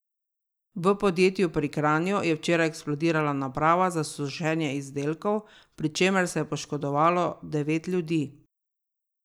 V podjetju pri Kranju je včeraj eksplodirala naprava za sušenje izdelkov, pri čemer se je poškodovalo devet ljudi.